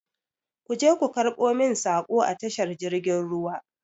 Ku je ku karɓo min saƙo a tashar jirgin ruwa!